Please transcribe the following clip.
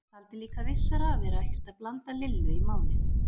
Taldi líka vissara að vera ekkert að blanda Lillu í málið.